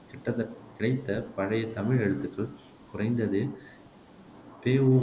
கிட்டதட் கிடைத்த பழைய தமிழ் எழுத்துகள் குறைந்தது பெ ஊ